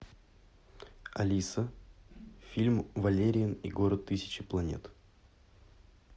алиса фильм валериан и город тысячи планет